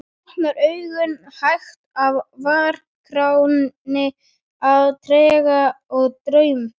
Hann var lúmskt stoltur af uppljóstrun sinni.